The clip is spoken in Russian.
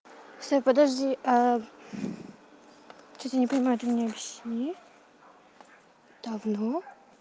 всё подожди а что-то не понимаю ты мне объясни давно